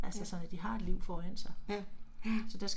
Ja, ja, ja